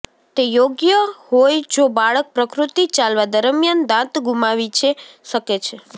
તે યોગ્ય હોઈ જો બાળક પ્રકૃતિ ચાલવા દરમિયાન દાંત ગુમાવી છે શકે છે